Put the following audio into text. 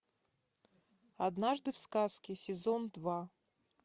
однажды в сказке сезон два